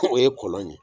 O ye kɔlɔn ye